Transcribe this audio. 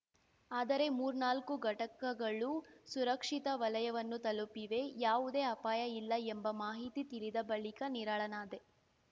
ಆದರೆ ಮೂರ್ನಾಲ್ಕು ಘಟಕಗಳು ಸುರಕ್ಷಿತ ವಲಯವನ್ನು ತಲುಪಿವೆ ಯಾವುದೇ ಅಪಾಯ ಇಲ್ಲ ಎಂಬ ಮಾಹಿತಿ ತಿಳಿದ ಬಳಿಕ ನಿರಾಳನಾದೆ